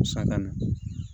Santa na